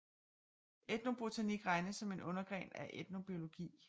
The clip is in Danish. Etnobotanik regnes som en undergren af etnobiologi